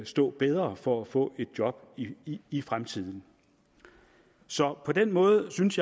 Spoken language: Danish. stå bedre for at få et job i fremtiden så på den måde synes